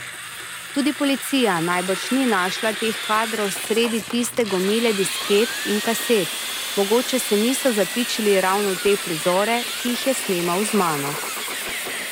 Tudi policija najbrž ni našla teh kadrov sredi tiste gomile disket in kaset, mogoče se niso zapičili ravno v te prizore, ki jih je snemal z mano.